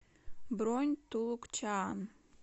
бронь туллукчаан